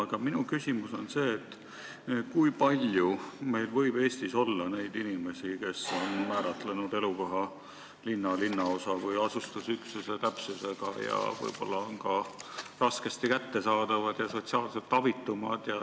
Aga minu küsimus on see: kui palju meil võib Eestis olla neid inimesi, kes on määratlenud elukoha linna, linnaosa või asustusüksuse täpsusega ja on võib-olla ka raskesti kättesaadavad ja sotsiaalselt abitumad?